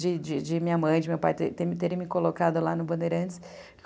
de de de minha mãe, de meu pai terem me colocado lá no Bandeirantes.